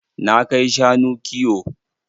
Na kai shanu kiwo.